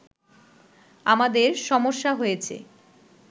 আমাদের সমস্যা হয়েছে